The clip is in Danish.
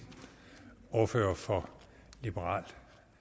ordfører for liberal